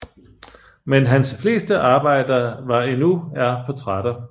Men hans fleste arbejder var endnu er portrætter